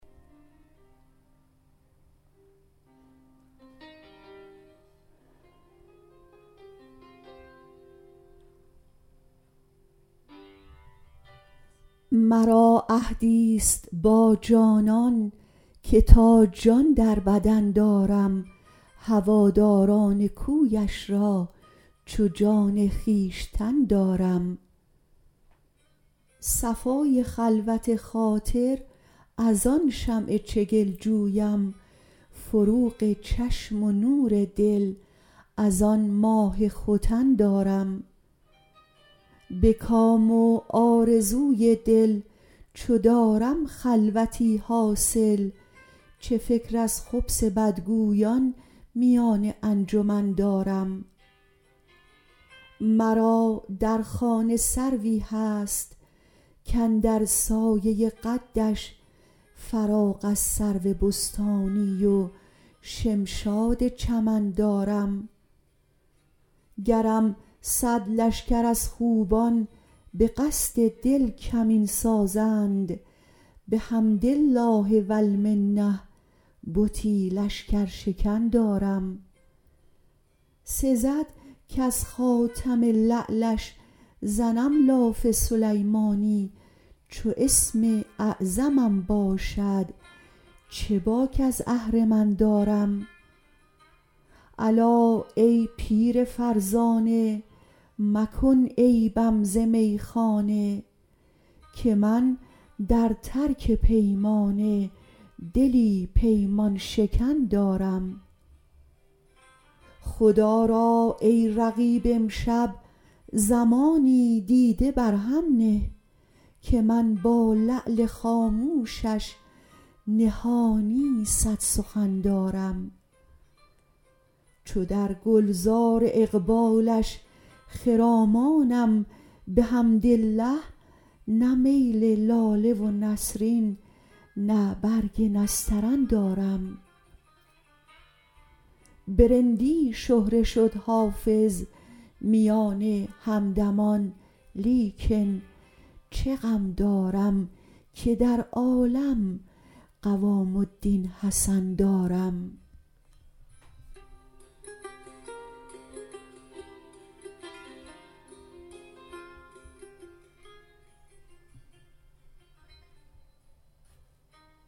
مرا عهدی ست با جانان که تا جان در بدن دارم هواداران کویش را چو جان خویشتن دارم صفای خلوت خاطر از آن شمع چگل جویم فروغ چشم و نور دل از آن ماه ختن دارم به کام و آرزوی دل چو دارم خلوتی حاصل چه فکر از خبث بدگویان میان انجمن دارم مرا در خانه سروی هست کاندر سایه قدش فراغ از سرو بستانی و شمشاد چمن دارم گرم صد لشکر از خوبان به قصد دل کمین سازند بحمد الله و المنه بتی لشکرشکن دارم سزد کز خاتم لعلش زنم لاف سلیمانی چو اسم اعظمم باشد چه باک از اهرمن دارم الا ای پیر فرزانه مکن عیبم ز میخانه که من در ترک پیمانه دلی پیمان شکن دارم خدا را ای رقیب امشب زمانی دیده بر هم نه که من با لعل خاموشش نهانی صد سخن دارم چو در گل زار اقبالش خرامانم بحمدالله نه میل لاله و نسرین نه برگ نسترن دارم به رندی شهره شد حافظ میان همدمان لیکن چه غم دارم که در عالم قوام الدین حسن دارم